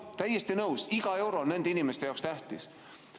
Jah, täiesti nõus, iga euro on nende inimeste jaoks tähtis.